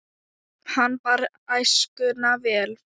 Hann bar æskuna vel.